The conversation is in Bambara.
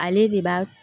Ale de b'a